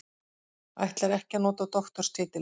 Ætlar ekki að nota doktorstitilinn